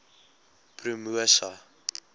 promosa